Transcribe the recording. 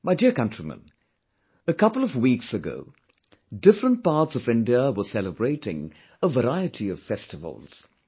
My dear countrymen, a couple of weeks ago, different parts of India were celebrating a variety of festivals